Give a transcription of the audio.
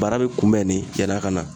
Baara bɛ kunbɛn ni yann'a ka na